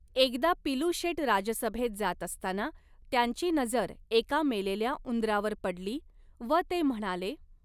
एकदा पिलूशेट राजसभेत जात असताना त्यांची नजर एका मेलेल्या उंदरावर पडली, व ते म्हणाले .